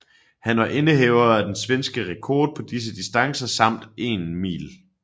Han var indehaver af den svenske rekord på disse distancer samt 1 mile